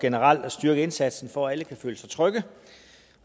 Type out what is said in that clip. generelt at styrke indsatsen for at alle kan føle sig trygge